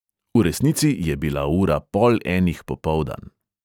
V resnici je bila ura pol enih popoldan.